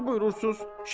Yaxşı buyurursunuz.